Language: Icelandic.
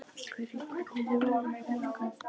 Gurrí, hvernig er veðrið á morgun?